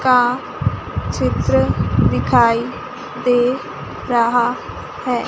का चित्र दिखाई दे रहा है।